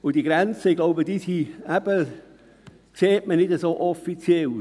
Und diese Grenzen, glaube ich, sieht man nicht so offiziell.